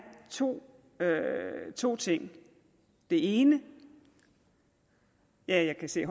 to to ting den ene er jeg kan se at